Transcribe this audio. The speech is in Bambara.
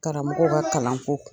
Karamɔgɔw ka kalan ko.